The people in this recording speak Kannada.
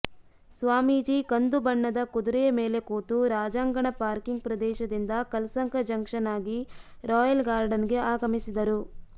ಸ್ವಾಮೀಜಿ ಕಂದು ಬಣ್ಣದ ಕುದುರೆಯ ಮೇಲೆ ಕೂತು ರಾಜಾಂಗಣ ಪಾರ್ಕಿಂಗ್ ಪ್ರದೇಶದಿಂದ ಕಲ್ಸಂಕ ಜಂಕ್ಷನ್ ಆಗಿ ರಾಯಲ್ ಗಾರ್ಡನ್ಗೆ ಆಗಮಿಸಿದರು